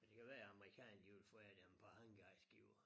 Det kan være amerikanerne de vil forære dem et par hangarskibe